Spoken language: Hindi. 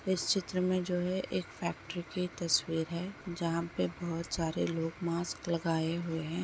इस चित्र में जो है एक फैक्ट्री की तस्वीर है जहाँ पे बोहोत सारे लोग मास्क लगाए हुए हैं।